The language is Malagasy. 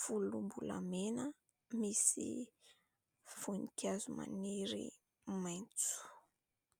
volombolamena misy voninkazo maniry mainty.